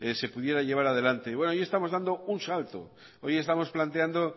se pudiera llevar adelante bueno hoy estamos dando un salto hoy estamos planteando